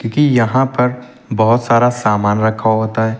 क्योंकि यहां पर बहोत सारा सामान रखा होता है।